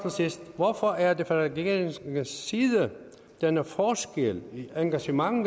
sidst hvorfor er der fra regeringens side denne forskel i engagement